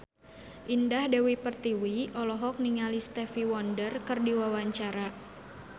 Indah Dewi Pertiwi olohok ningali Stevie Wonder keur diwawancara